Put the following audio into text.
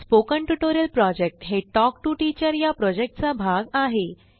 spoken tutorial project हे talk to teacher या प्रॉजेक्टचा भाग आहे